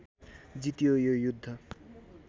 जितियो यो युद्ध